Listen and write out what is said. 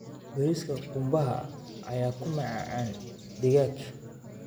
Bariiska qumbaha ayaa ku macaan digaag.